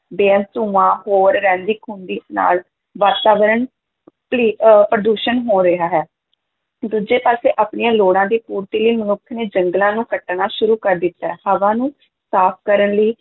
ਬੇਅੰਤ ਧੂੰਆਂ, ਹੋਰ ਰਹਿੰਦੀ-ਖੂੰਹਦੀ ਨਾਲ ਵਾਤਾਵਰਨ ਪਲੀ~ ਅਹ ਪ੍ਰਦੂਸ਼ਣ ਹੋ ਰਿਹਾ ਹੈ, ਦੂਜੇ ਪਾਸੇ ਆਪਣੀਆਂ ਲੋੜਾਂ ਦੀ ਪੂਰਤੀ ਲਈ ਮਨੁੱਖ ਨੇ ਜੰਗਲਾਂ ਨੂੰ ਕੱਟਣਾ ਸ਼ੁਰੂ ਕਰ ਦਿੱਤਾ, ਹਵਾ ਨੂੰ ਸਾਫ਼ ਕਰਨ ਲਈ